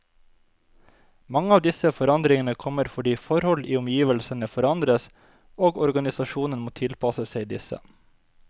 Mange av disse forandringene kommer fordi forhold i omgivelsene forandres, og organisasjonen må tilpasse seg disse.